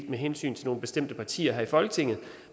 med hensyn til nogle bestemte partier her i folketinget